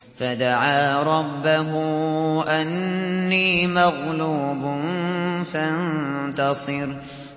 فَدَعَا رَبَّهُ أَنِّي مَغْلُوبٌ فَانتَصِرْ